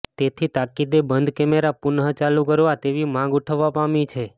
તેથી તાકીદે બંધ કેમેરા પુનઃ ચાલુ કરવા તેવી માંગ ઉઠવા પામી છે